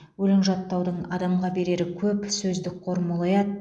өлең жаттаудың адамға берері көп сөздік қор молаяды